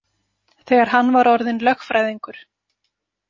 Þegar hann var orðinn lögfræðingur.